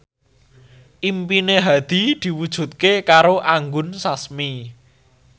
impine Hadi diwujudke karo Anggun Sasmi